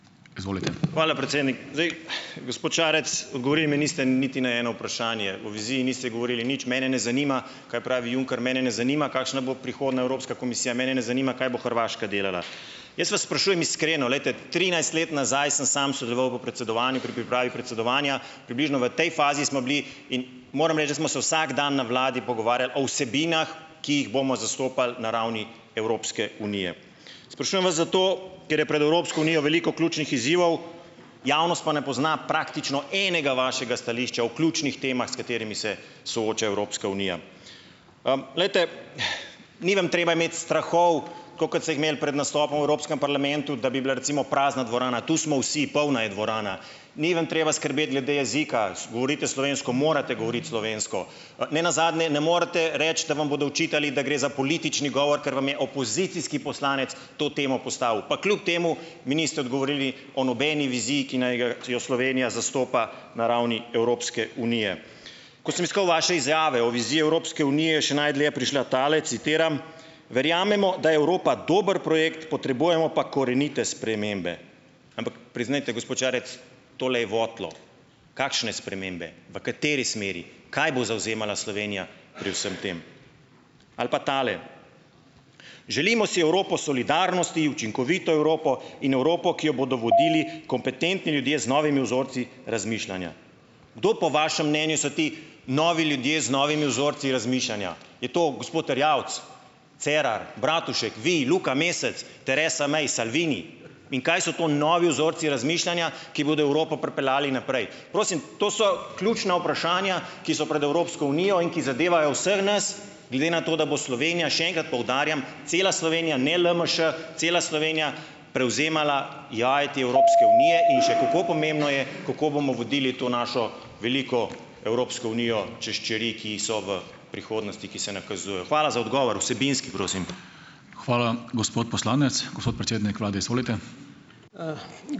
Izvolite. Hvala, predsednik. Zdaj, gospod Šarec, odgovorili mi niste niti na eno vprašanje. O viziji niste govorili nič. Mene ne zanima, kaj pravi Juncker, mene ne zanima, kakšna bo prihodnja Evropska komisija, mene ne zanima, kaj bo Hrvaška delala. Jaz vas sprašujem iskreno, glejte. Trinajst let nazaj sem samo sodeloval v predsedovanju pri pripravi predsedovanja, približno v tej fazi smo bili, in moram reči, da smo se vsak dan na vladi pogovarjali o vsebinah, ki jih bomo zastopali na ravni Evropske unije. Sprašujem vas zato, ker je pred Evropsko unijo veliko ključnih izzivov, javnost pa ne pozna praktično enega vašega stališča o ključnih temah, s katerimi se sooča Evropska unija. glejte, ni vam treba imeti strahov, tako kot ste jih imeli pred nastopom v Evropskem parlamentu, da bi bila recimo prazna dvorana. Tu smo vsi, polna je dvorana. Ni vam treba skrbeti glede jezika, govorite slovensko, morate govoriti slovensko. ne nazadnje ne morete reči, da vam bodo očitali, da gre za politični govor, kar vam je opozicijski poslanec to temo postavil. Pa kljub temu mi niste odgovorili o nobeni viziji, ki naj ga jo Slovenija zastopa na ravni Evropske unije. Ko sem iskal vaše izjave o viziji Evropske unije, je še najdlje prišla tale, citiram: "Verjamemo, da je Evropa dober projekt, potrebujemo pa korenite spremembe." Ampak priznajte, gospod Šarec, tole je votlo. Kakšne spremembe, v kateri smeri, kaj bo zavzemala Slovenija pri vsem tem? Ali pa tale: "Želimo si Evropo solidarnosti, učinkovito Evropo in Evropo, ki jo bodo vodili kompetentni ljudje z novimi vzorci razmišljanja." Kdo po vašem mnenju so ti novi ljudje z novimi vzorci razmišljanja? Je to gospod Erjavec, Cerar, Bratušek, vi, Luka Mesec, Theresa May, Salvini? In kaj so to novi vzorci razmišljanja, ki bodo Evropo pripeljali naprej? Prosim, to so ključna vprašanja, ki so pred Evropsko unijo in ki zadevajo vseh nas, glede na to, da bo Slovenija, še enkrat poudarjam, cela Slovenija, ne LMŠ, cela Slovenija prevzemala vajeti Evropske unije in še kako pomembno je, kako bomo vodili to našo veliko Evropsko unijo čez čeri, ki so v prihodnosti, ki se nakazujejo. Hvala za odgovor, vsebinski, prosim. Hvala, gospod poslanec, gospod predsednik vlade, izvolite.